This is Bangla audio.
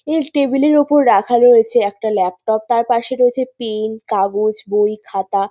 এই টেবিল -এর ওপর রাখা রয়েছে একটা ল্যাপটপ তার পাশে রয়েছে পেন কাগজ বই খাতা।